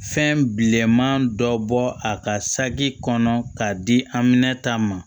Fɛn bilenman dɔ bɔ a ka saki kɔnɔ k'a di an mɛna ta ma